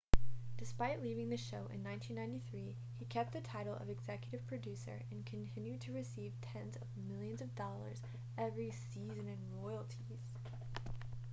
despite leaving the show in 1993 he kept the title of executive producer and continued to receive tens of millions of dollars every season in royalties